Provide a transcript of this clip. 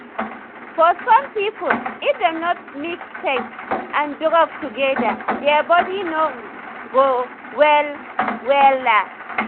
for some people if dem no mix faith and drug together their body no um go um well wella